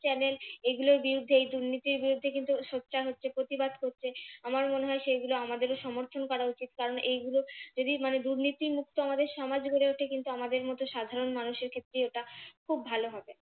channel এর এগুলোর বিরুদ্ধে এই দুর্নীতির বিরুদ্ধে কিন্তু সোচ্চার হচ্ছে প্রতিবাদ করছে আমার মনে হয় সেগুলো আমাদেরও সমর্থন করা উচিত কারণ এইগুলো যদি মানে দুর্নীতি মুক্ত আমাদের সমাজ গড়ে ওঠে কিন্তু আমাদের মতো সাধারণ মানুষের ক্ষেত্রে এটা খুব ভালো হবে।